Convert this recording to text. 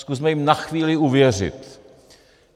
Zkusme jim na chvíli uvěřit.